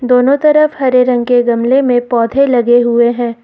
दोनों तरफ हरे रंग के गमले में पौधे लगे हुए हैं।